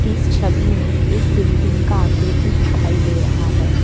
इस छवि में एक बिल्डिंग का आकृति दिखाई दे रहा है।